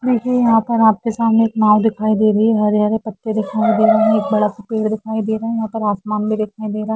देखिए यहा पर आपके सामने एक नाव दिखाई दे रही है हरे हरे कपड़े दिखाई दे रहे हे एक बड़ा सा पेड़ दिखाई दे रहा हे यहा पर आसमान भी दिखाई दे रहा है